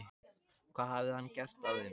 Hvað hafði hann gert af þeim?